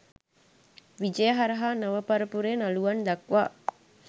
විජය හරහා නව පරපුරේ නළුවන් දක්වා